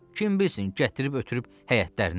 Kim bilsin, gətirib ötürüb həyətlərinə.